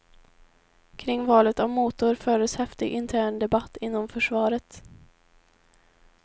Kring valet av motor fördes häftig intern debatt inom försvaret.